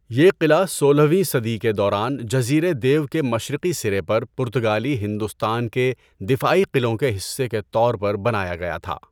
یہ قلعہ سولہویں صدی کے دوران جزیرے دیو کے مشرقی سرے پر پرتگالی ہندوستان کے دفاعی قلعوں کے حصے کے طور پر بنایا گیا تھا۔